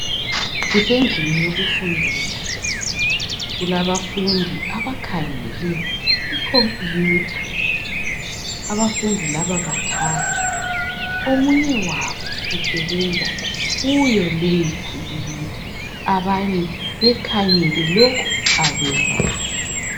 Kusendlini yokufundela kulabafundi abakhangele ikhompiyutha abafundi laba bathathu omunye wabo usebenza kuyo leyi ikhompiyutha abanye bekhangele lokhu akwenzayo.